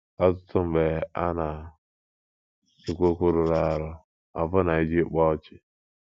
Ọtụtụ mgbe, a na - ekwu okwu rụrụ arụ ọbụna iji kpaa ọchị.